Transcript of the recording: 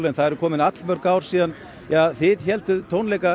það er komin mörg ár síðan þið hélduð tónleika